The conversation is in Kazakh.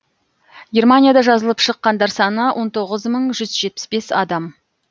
германияда жазылып шыққандар саны он тоғыз мың жүз жетпіс бес адам